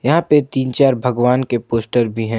यहां पे तीन चार भगवान के पोस्टर भी हैं।